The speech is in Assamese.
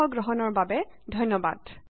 অংশ গ্ৰহণৰ বাবে ধন্যবাদ